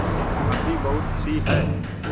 अभी बहुतसी हैं